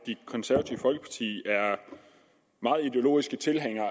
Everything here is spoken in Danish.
det konservative folkeparti er meget ideologiske tilhængere